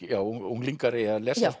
unglingar eigi að lesa